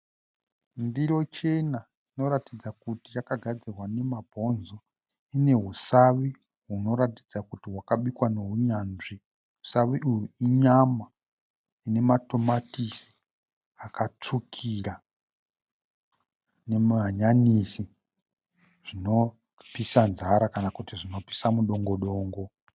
Ndiro chena inoratidza kuti yakagadzirwa nemabonzo. Ine husavi hunoratidza kuti hwakabikwa nehunyanzvi. Husavi uhu inyama ine matomatisi akatsvukira nemahanyanisi zvinopisa nzara kana kuti zvinopisa mudongodongo.